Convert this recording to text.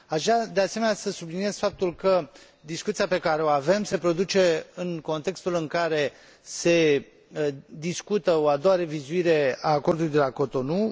Aș vrea, de asemenea, să subliniez faptul că discuția pe care o avem se produce în contextul în care se discută o a doua revizuire a Acordului de la Cotonou